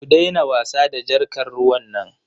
Ku daina wasa da jarkar ruwan nan.